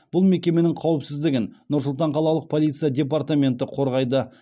бұл мекеменің қауіпсіздігін нұр сұлтан қалалық полиция департаменті қорғайды